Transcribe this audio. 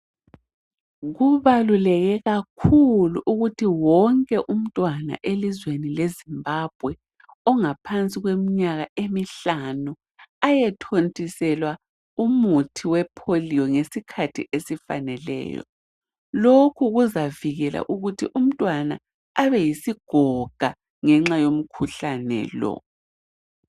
Kubaluleke ukuthi wonke umntwana elizweni le Zimbabwe ingaphansi kweminyaka emihlanu ayethontiselwa umuthi wepolio ngesikhathi esifaneleyo lokhu kuzavikela umntwana abe yisigoga ngenxa yomkhuhlane lo.